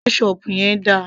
ketchup yẹn dà